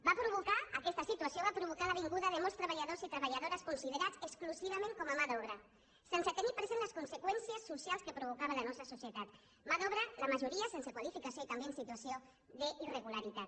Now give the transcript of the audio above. va provocar aquesta situació la vin·guda de molts treballadors i treballadores considerats exclusivament com a mà d’obra sense tenir present les conseqüències socials que provocava en la nostra soci·etat mà d’obra la majoria sense qualificació i també en situació d’irregularitat